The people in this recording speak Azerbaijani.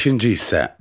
Beşinci hissə.